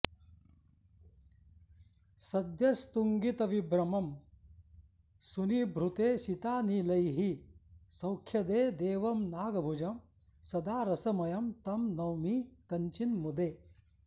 सद्यस्तुङ्गितविभ्रमं सुनिभृते शीतानिलैः सौख्यदे देवं नागभुजं सदा रसमयं तं नौमि कञ्चिन् मुदे